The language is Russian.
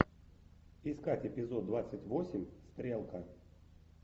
искать эпизод двадцать восемь стрелка